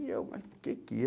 E eu, mas o que que é?